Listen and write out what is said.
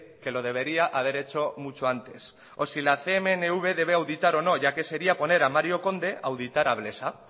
que lo debería haber hecho mucho antes o si la cnmv debe auditar o no ya que sería poner a mario conde a auditar a blesa